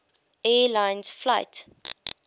air lines flight